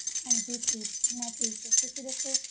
ਹਾਂਜੀ ਠੀਕ, ਮੈਂ ਠੀਕ ਹੈਂ। ਤੁਸੀਂ ਦੱਸੋ?